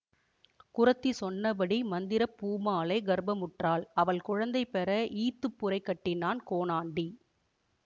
குறத்தி சொன்னபடி மந்திரப்பூமாலை கர்ப்பமுற்றாள் அவள் குழந்தை பெற ஈத்துப்புரை கட்டினான் கோனான்டி